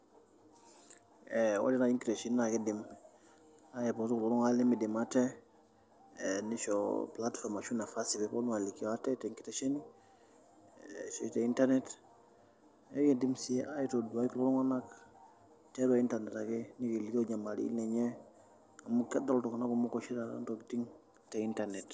Ore naaji nkiteshenini naa kidim aipotu kulo tunganak lemidim ate ,nisho nafasi ashu platform pee eponu alikio ate tenkitesheni, ashu internet ,neyiolou sii aitodua iltungank tiatua internet ake elikio nyamalitin enye amu kedol itungank kumok oshi taata intokiting te internet.